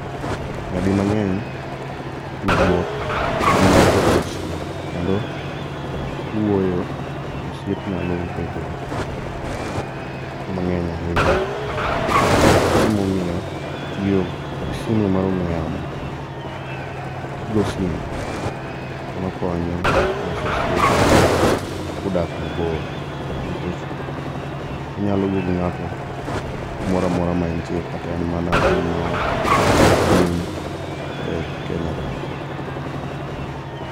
Nyadimang'eny tudruok ema tegomosiep kendo kuoyo tosiep nyalo bedo mang'eny ahinya. Maemomiyo tiyo gi simu mar ong'we yamo kigo simu emakonyo loso osiep kudak mabor. Nikech inyalo wuoyo gi ng'ato kumoramora maentie kata en mana piny maoko to in e Kenya ka.